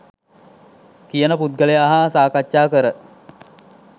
කියන පුද්ගලයා හා සාකච්ඡා කර